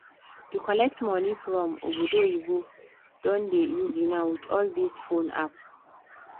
to collect money from obodo oyinbo don dey easy now with all these phone apps